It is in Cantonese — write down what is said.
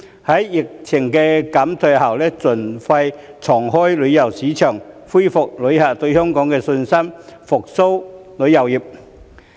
在疫情減退後，盡快重開旅遊市場，恢復旅客對香港的信心，復蘇旅遊業。